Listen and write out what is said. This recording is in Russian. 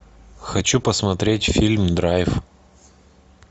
хочу посмотреть фильм драйв